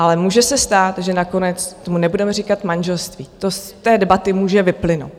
Ale může se stát, že nakonec tomu nebudeme říkat manželství, to z té debaty může vyplynout.